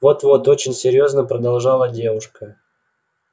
вот-вот очень серьёзно продолжала девочка